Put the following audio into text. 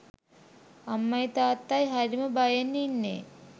අම්මයි තාත්තයි හරිම බයෙන් ඉන්නේ